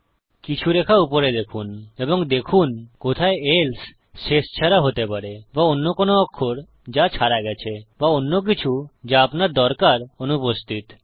কিছু রেখা উপরে দেখুন এবং দেখুন কোথায় এলসে শেষ ছাড়া হতে পারে বা অন্য কোনো অক্ষর যা ছাড়া গেছে বা অন্যকিছু যা আপনার দরকার অনুপস্থিত